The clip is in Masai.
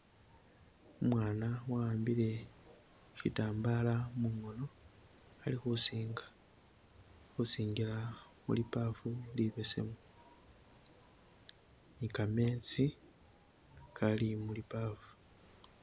Umwana wahambile shitambala mungono alikhusinga khusingila muli baafu libesemu ni ga meezi gali mu libaafu.